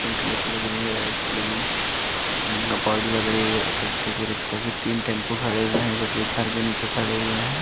Pink colour की लग रही है रेड कलर की गपाड़ी लग रही है। टेम्पू के रिक्शा की तीन टेम्पू खड़े हुये हैं जोकि एक घर के नीचे खड़े हुए हैं।